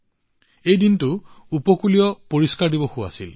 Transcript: এই দিনটোত উপকূলীয় পৰিষ্কাৰ দিৱসো পালন কৰা হৈছিল